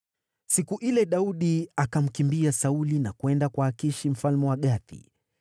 Siku ile Daudi akamkimbia Sauli na kwenda kwa Akishi mfalme wa Gathi.